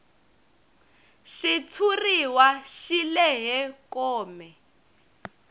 xitshuriwa xi lehe kome